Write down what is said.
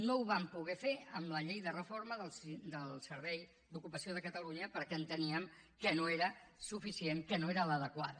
no ho vam poder fer amb la llei de reforma del servei d’ocupació de catalunya perquè enteníem que no era suficient que no era l’adequada